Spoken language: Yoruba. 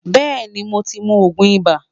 Beeni mo ti mu oogun iba